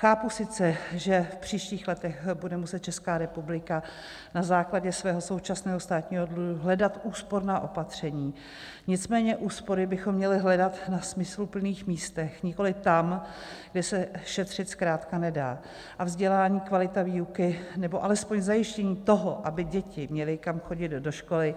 Chápu sice, že v příštích letech bude muset Česká republika na základě svého současného státního dluhu hledat úsporná opatření, nicméně úspory bychom měli hledat na smysluplných místech, nikoliv tam, kde se šetřit zkrátka nedá, a vzdělání a kvalita výuky nebo alespoň zajištění toho, aby děti měly kam chodit do školy,